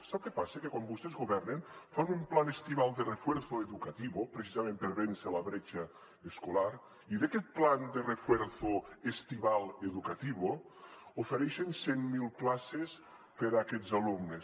sap què passa que quan vostès governen fan un plan estival de refuerzo educativo precisament per vèncer la bretxa escolar i en aquest plan de refuerzo estival educativo ofereixen cent mil places per a aquests alumnes